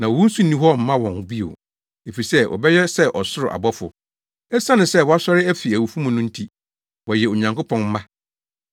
Na owu nso nni hɔ mma wɔn bio, efisɛ wɔbɛyɛ sɛ ɔsoro abɔfo. Esiane sɛ wɔasɔre afi awufo mu no nti, wɔyɛ Onyankopɔn mma.